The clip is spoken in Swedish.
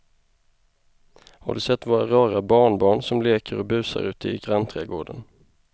Har du sett våra rara barnbarn som leker och busar ute i grannträdgården!